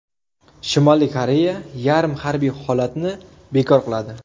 Shimoliy Koreya yarim harbiy holatni bekor qiladi.